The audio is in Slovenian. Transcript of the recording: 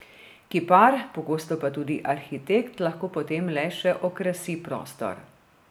Kipar, pogosto pa tudi arhitekt, lahko potem le še okrasi prostor.